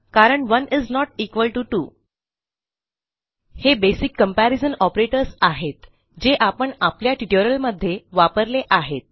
कारण1 is not equal to 2 हे basic comparison operators आहेत जे आपण आपल्या ट्युटोरियलमध्ये वापरले आहेत